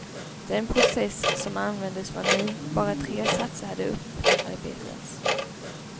Den process som användes var ny, bara tre satser hade upparbetats.